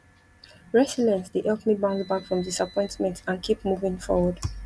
resilience dey help me bounce back from disappointment and keep moving forward